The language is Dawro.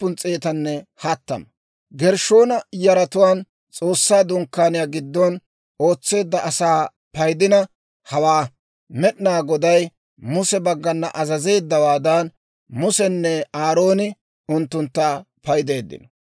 Gershshoona yaratuwaan S'oossaa Dunkkaaniyaa giddon ootseedda asaa paydina hawaa. Med'inaa Goday Muse baggana azazeeddawaadan, Musenne Aarooni unttuntta paydeeddino.